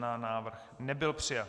Návrh nebyl přijat.